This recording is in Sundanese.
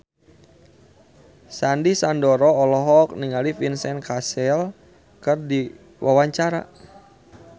Sandy Sandoro olohok ningali Vincent Cassel keur diwawancara